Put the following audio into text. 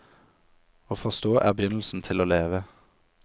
Å forstå er begynnelsen til å leve.